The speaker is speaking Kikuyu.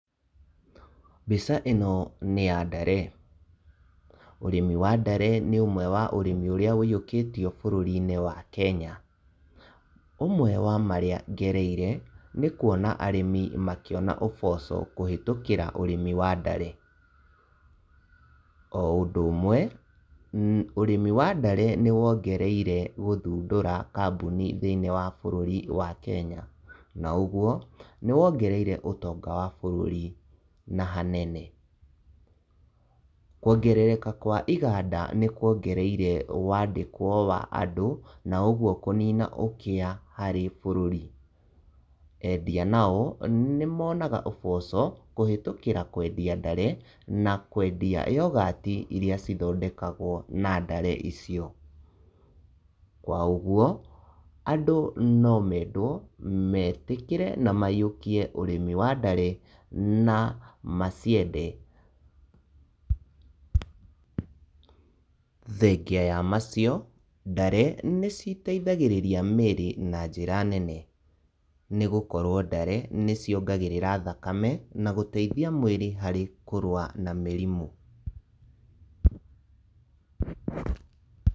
Mbica ĩno nĩ ya ndare, ũrĩmi wa ndare nĩ ũmwe wa ũrĩmi ũrĩa woiyũkĩtio bũrũrinĩ wa Kenya. Ũmwe wa marĩa ngereire nĩ kuona arĩmi makĩona ũboco kũhĩtũkĩra ũrĩmi wa ndare. Oũndũ ũmwe ũrĩmi wa ndare nĩwongereire gũthundũra kambuni thĩinĩ wa bũrũri wa Kenya, na ũguo nĩwongereire ũtonga wa bũrũri na ha nene. Kuongerereka kwa iganda nĩkuongereire wandĩkwo wa andũ, na ũguo kũnina ũkĩa harĩ bũrũri. Endia nao nĩmonaga ũboco kũhĩtũkĩra kwendia ndare na kwendia yogati iria ithondekagwo na ndare icio. Kwa ũguo andũ no mendwo metĩkĩre na maiyũkie ũrĩmi wa ndare na maciende. Thengia wa macio, ndare nĩiteithagĩrĩria mĩrĩ na njĩra nene nĩgũkorwo ndare nĩciongagĩrĩra thakame na gũteithia mwĩrĩ harĩ kũrũa na mĩrimũ.